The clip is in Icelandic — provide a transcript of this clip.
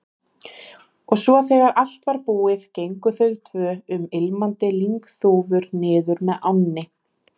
Og svo þegar allt var búið gengu þau tvö um ilmandi lyngþúfur niður með ánni.